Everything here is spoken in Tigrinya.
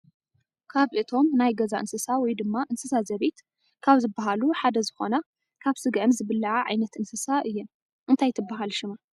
ካብ እቶም ናይ ገዛ እንስሳ ወይ ድማ እንስስ ዘቤት ካብ ዝብሃሉ ሓደ ዝኮና ካበ ስገኣን ዝብላዓ ዓይነት እንስሳ እየን። እንታይ ትብሃል ሽማ?